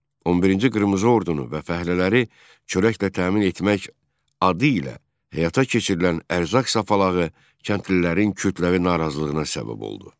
11-ci Qırmızı Ordunu və fəhlələri çörəklə təmin etmək adı ilə həyata keçirilən ərzaq sapalağı kəndlilərin kütləvi narazılığına səbəb oldu.